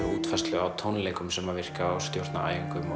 útfærslu á tónleikum sem virkar og stjórna æfingum og